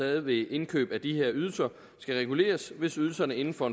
ved indkøb af de her ydelser skal reguleres hvis ydelserne inden for